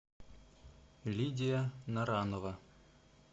лидия наранова